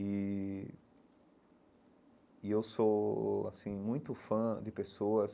E e eu sou assim muito fã de pessoas,